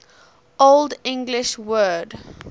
old english word